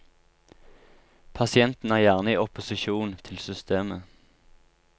Pasienten er gjerne i opposisjon til systemet.